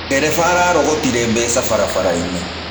Ndereba ararogotire mbeca barabara-inĩ.